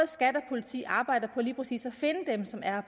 skat og politi arbejder på lige præcis at finde dem som er